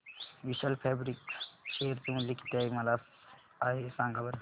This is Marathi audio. विशाल फॅब्रिक्स शेअर चे मूल्य किती आहे सांगा बरं